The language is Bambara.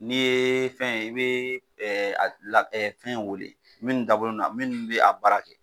N'i ye fɛn i be ɛɛ gila ɛ fɛn wele minnu dabɔlen do a minnu be a baara kɛ